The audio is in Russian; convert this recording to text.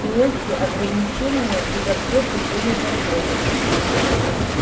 и эти ограничения и запреты были законом